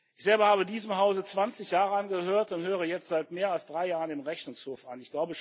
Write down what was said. Ich selber habe diesem Hause 20 Jahre angehört und gehöre jetzt seit mehr als drei Jahren dem Rechnungshof an.